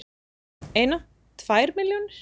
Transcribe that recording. Eina, tvær milljónir?